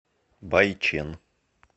байчэн